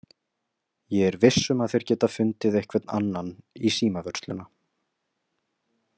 Ég er viss um að þeir geta fundið einhvern annan í símavörsluna.